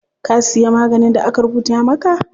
Ka siya maganin da aka rubuta maka?